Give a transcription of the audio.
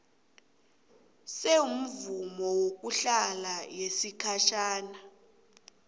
semvumo yokuhlala yesikhatjhana